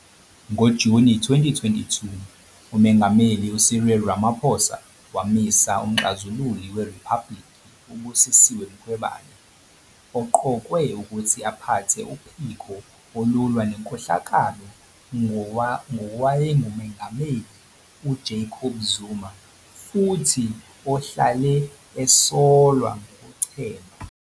NgoJuni 2022, uMengameli uCyril Ramaphosa wamisa uMxazululi weRiphabhulikhi u-Busisiwe Mkhwebane, oqokwe ukuthi aphathe uphiko olulwa nenkohlakalo ngowayenguMengameli uJacob Zuma futhi ohlale esolwa ngokuchema.